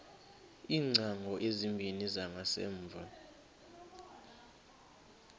iingcango ezimbini zangasemva